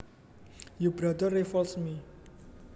Your brother revolts me